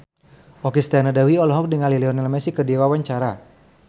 Okky Setiana Dewi olohok ningali Lionel Messi keur diwawancara